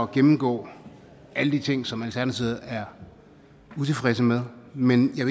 gennemgå alle de ting som alternativet er utilfredse med men jeg